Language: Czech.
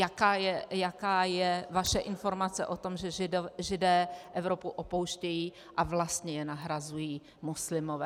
Jaká je vaše informace o tom, že Židé Evropu opouštějí a vlastně je nahrazují muslimové.